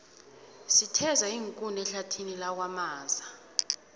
sitheza iinkuni ehlathini lakwamaza